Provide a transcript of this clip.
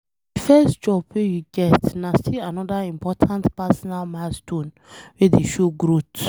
De first job wey you get na still anoda important personal milestone wey dey show growth.